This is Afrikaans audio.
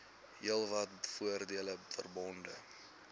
heelwat voordele verbonde